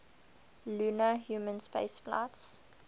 lunar human spaceflights